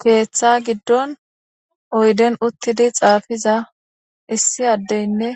keeththa giddon oyden uttidi xaafiza issi addeynne